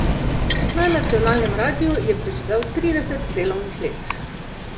Na nacionalnem radiu je preživel trideset delovnih let!